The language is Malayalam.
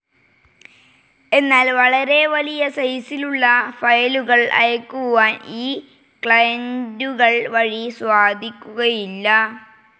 എന്നാൽ വളരെ വലിയ സൈസിലുള്ള ഫയലുകൾ അയക്കുവാൻ ഈ ക്ലയൻ്റുകൾ വഴി സാധിക്കുകയില്ല.